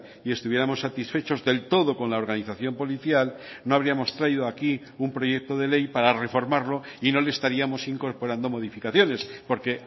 y estuviéramos satisfechos del todo con la organización policial no habríamos traído aquí un proyecto de ley para reformarlo y no le estaríamos incorporando modificaciones porque